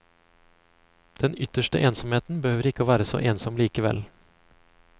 Den ytterste ensomheten behøver ikke være så ensom likevel.